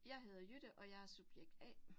Jeg hedder Jytte og jeg er subjekt A